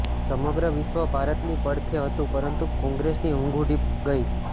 સમગ્ર વિશ્વ ભારતની પડખે હતું પરંતુ કોંગ્રેસની ઊંઘ ઉડી ગઈ